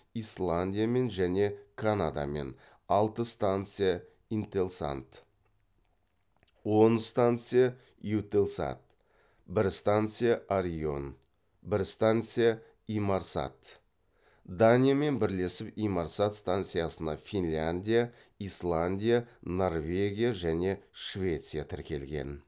исландиямен және канадамен алты станция интелсат он станция еутелсат бір станция орион бір станция инмарсат